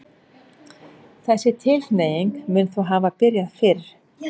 þessi tilhneiging mun þó hafa byrjað fyrr